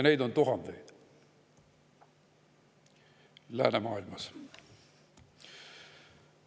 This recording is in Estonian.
Neid on läänemaailmas tuhandeid.